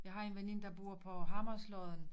Jeg har en veninde der bor på Hammerlodden